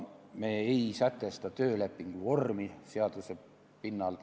Me ei sätesta töölepingu vormi seaduse pinnal.